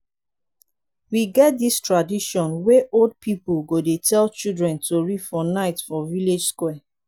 we get dis tradition wey old pipu go dey tell childre tori for night for village square.